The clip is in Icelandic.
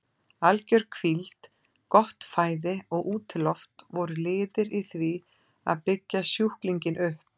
Alger hvíld, gott fæði og útiloft voru liðir í því að byggja sjúklinginn upp.